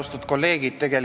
Austatud kolleegid!